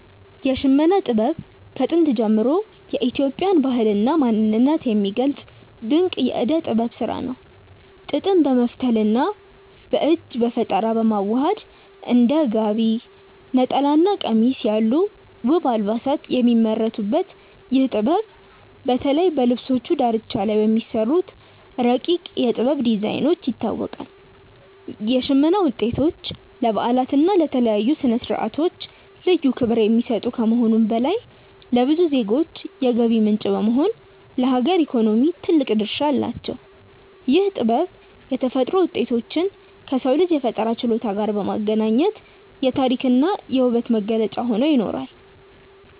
የሽመና ጥበብ ከጥንት ጀምሮ የኢትዮጵያን ባህልና ማንነት የሚገልጽ ድንቅ የእደ ጥበብ ስራ ነው። ጥጥን በመፍተልና በእጅ በፈጠራ በማዋሃድ እንደ ጋቢ፣ ነጠላና ቀሚስ ያሉ ውብ አልባሳት የሚመረቱበት ይህ ጥበብ፣ በተለይ በልብሶቹ ዳርቻ ላይ በሚሰሩት ረቂቅ የ"ጥበብ" ዲዛይኖች ይታወቃል። የሽመና ውጤቶች ለበዓላትና ለተለያዩ ስነ-ስርዓቶች ልዩ ክብር የሚሰጡ ከመሆኑም በላይ፣ ለብዙ ዜጎች የገቢ ምንጭ በመሆን ለሀገር ኢኮኖሚ ትልቅ ድርሻ አላቸው። ይህ ጥበብ የተፈጥሮ ውጤቶችን ከሰው ልጅ የፈጠራ ችሎታ ጋር በማገናኘት የታሪክና የውበት መገለጫ ሆኖ ይኖራል።